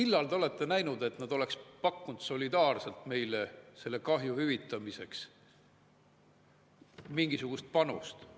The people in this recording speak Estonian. Kas te olete näinud, et nad oleks pakkunud solidaarselt meile selle kahju hüvitamiseks mingisugust panust?